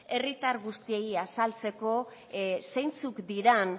herritar guztiei azaltzeko zeintzuk diren